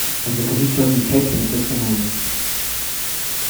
закажи черный чай принцесса нури